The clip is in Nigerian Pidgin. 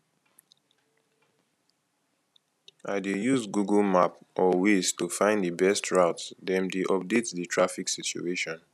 i dey use google map or waze to find di best route dem dey update di traffic situation